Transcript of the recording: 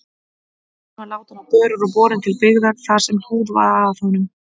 Hann var látinn á börur og borinn til byggða þar sem hlúð var að honum.